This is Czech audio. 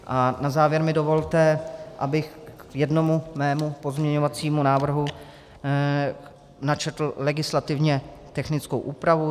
A na závěr mi dovolte, abych k jednomu svému pozměňovacímu návrhu načetl legislativně technickou úpravu.